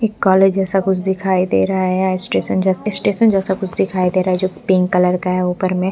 college जैसा कुछ दिखाई दे रहा है यहां स्टेशन जैसा स्टेशन जैसा कुछ दिखाई दे रहा है जो पिंक कलर का है ऊपर में --